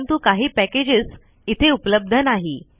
परंतु काही पैकेजस इथे उपलब्ध नाही